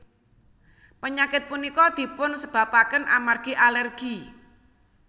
Penyakit punika dipun sebabaken amargi alergi